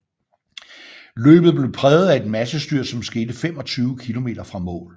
Løbet blev præget af et massestyrt som skete 25 km fra mål